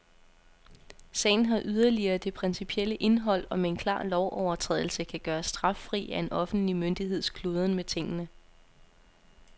Sagen har yderligere det principielle indhold, om en klar lovovertrædelse kan gøres straffri af en offentlig myndigheds kludren med tingene.